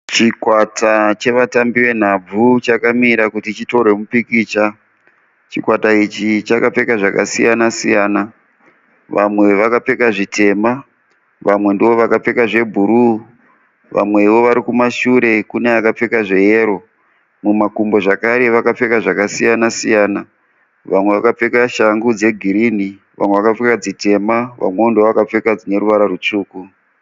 Chikwata chevatambi venhabvu chakamira kuti chitorwe mupikicha chikwata ichi chakapfeka zvakasiyana siyana vamwe vakapfeka zvitema vamwe ndovakapfeka zvebhuruu vamwewo vari kumashure kune akapfeka zveyero mumakumbo zvakare vakapfeka zvakasiyana siyana vamwe vakapfeka shangu dzegirini vamwe vakapfeka dzitema vamwewo ndivo vakapfeka dzine ruvara rutsvuku.